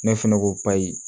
Ne fɛnɛ ko bali